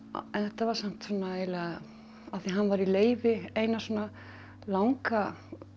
þetta var samt eiginlega af því hann var í leyfi eina svona langa